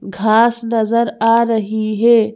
घास नजर आ रही है।